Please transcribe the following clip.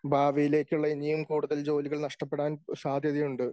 ഭാവിയിലേക്കുള്ള ഇനിയും കൂടുതൽ ജോലികൾ നഷ്ടപ്പെടാൻ സാധ്യതയുണ്ട്.